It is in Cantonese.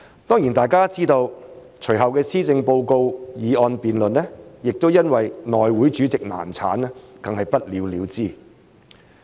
當然大家都知道，隨後的施政報告議案辯論，亦因為內務委員會主席選舉難產而不了了之。